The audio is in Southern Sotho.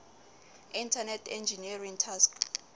internet engineering task